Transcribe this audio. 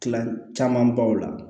Tila camanbaw la